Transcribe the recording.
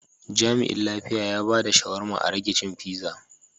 Jami'in lafiya ya bada shawarma a rage cin pizza.